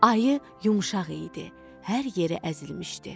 Ayı yumşaq idi, hər yeri əzilmişdi.